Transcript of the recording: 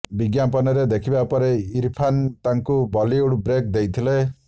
ବିଜ୍ଞାପନରେ ଦେଖିବା ପରେ ଇରଫାନ ତାଙ୍କୁ ବଲିଉଡ ବ୍ରେକ ଦେଇଥିଲେ